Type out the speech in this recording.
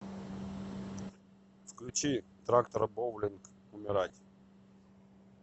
включи трактор боулинг умирать